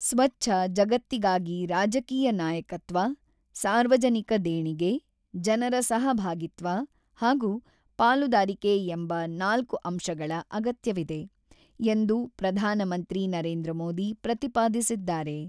"""ಸ್ವಚ್ಛ ಜಗತ್ತಿಗಾಗಿ ರಾಜಕೀಯ ನಾಯಕತ್ವ, ಸಾರ್ವಜನಿಕ ದೇಣಿಗೆ, ಜನರ ಸಹಭಾಗಿತ್ವ ಹಾಗೂ ಪಾಲುದಾರಿಕೆ ಎಂಬ ನಾಲ್ಕು ಅಂಶಗಳ ಅಗತ್ಯವಿದೆ"" ಎಂದು ಪ್ರಧಾನಮಂತ್ರಿ ನರೇಂದ್ರ ಮೋದಿ ಪ್ರತಿಪಾದಿಸಿದ್ದಾರೆ."